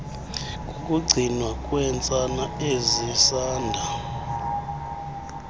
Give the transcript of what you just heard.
kukugcinwa kweentsana ezisanda